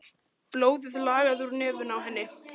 Blóðið lagaði úr nefinu á henni.